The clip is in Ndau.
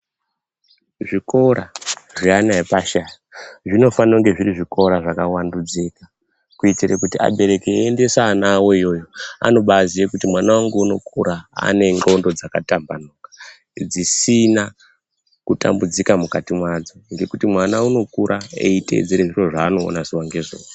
Zvikora zveana epashi ayaya zvinofanira kunga zviri zvikora zvakavandudzika. Kuitire kuti abereki eiendesa ana avo iyoyo anobaziye kuti mwana vangu unokura anendxondo dzakatambanuka. Dzisina kutambudzika mukati mwadzo ngekuti mwana unokura eitedzere zviro zvanoona zuva ngezuva.